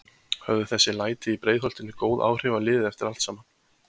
Höfðu þessi læti í Breiðholtinu góð áhrif á liðið eftir allt saman?